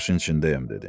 40 yaşın içindəyəm dedi.